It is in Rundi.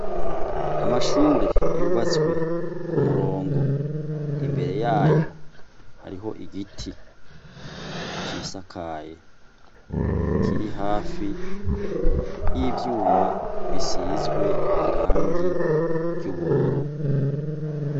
Amashure yubatswe kumurongo Imbere yayo, hariyo igiti cisakaye Kiri hafi yivyuma bisizwe irangi ryubururu .